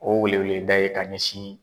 O weleweleda ye k'a ɲɛsin